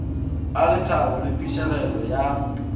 a lethabo le phišegelo ya